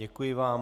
Děkuji vám.